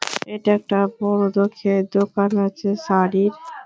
এইটা একটা বড়োলোকের দোকান আছে শাড়ীর।